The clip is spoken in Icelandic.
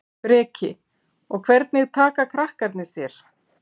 Breki: Og hvernig taka krakkarnir þér?